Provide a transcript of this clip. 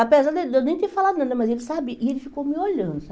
Apesar dele de eu nem ter falado nada, mas ele sabia e ele ficou me olhando.